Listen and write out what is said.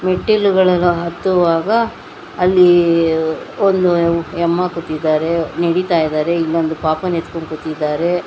ಮೆಟ್ಟಲುಗಳನ್ನು ಹತ್ತುವಾಗ ಅಲ್ಲಿ ಒಂದು ಎಂಮ ಕುಂತಿದ್ದಾರೆ ನಡಿತಾ ಇದಾರೆ ಇಲ್ಲಿ ಒಂದ್ ಪಾಪನ್ ಎತ್ಕೊಂಡು ಕುಂತಿದಾರೆ.